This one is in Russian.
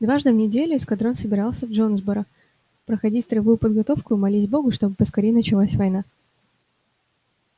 дважды в неделю эскадрон собирался в джонсборо проходить строевую подготовку и молить бога чтобы поскорее началась война